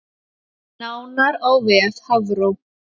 Nánar á vef Hafró